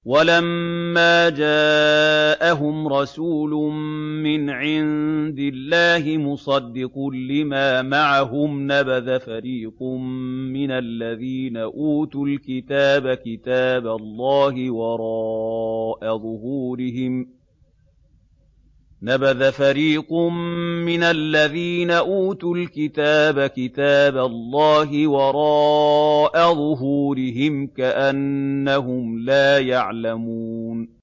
وَلَمَّا جَاءَهُمْ رَسُولٌ مِّنْ عِندِ اللَّهِ مُصَدِّقٌ لِّمَا مَعَهُمْ نَبَذَ فَرِيقٌ مِّنَ الَّذِينَ أُوتُوا الْكِتَابَ كِتَابَ اللَّهِ وَرَاءَ ظُهُورِهِمْ كَأَنَّهُمْ لَا يَعْلَمُونَ